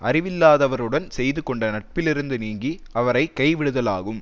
அறிவில்லாதவறுடன் செய்து கொண்ட நட்பிலிருந்து நீங்கி அவரை கைவிடுதலாகும்